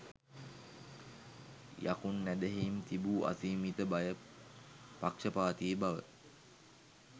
යකුන් ඇදහීම් තිබූ අසීමිත භය පක්‍ෂපාතී බව